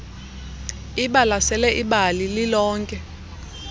ibalasele ibali lilonke